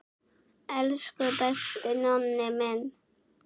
Elsku besti Nonni minn.